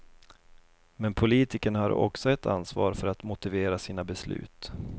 Men politikerna har också ett ansvar för att motivera sina beslut.